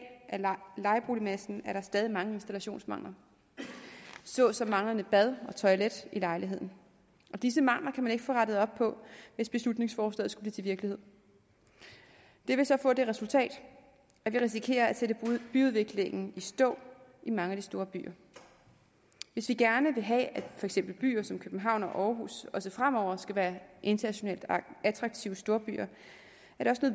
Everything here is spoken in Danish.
lejeboligmassen stadig mange installationsmangler såsom manglende bad og toilet i lejligheden og disse mangler kan man ikke få rettet op på hvis beslutningsforslaget skulle blive til virkelighed det vil så få det resultat at vi risikerer at sætte byudviklingen i stå i mange af de store byer hvis vi gerne vil have at for eksempel byer som københavn og aarhus også fremover skal være internationalt attraktive storbyer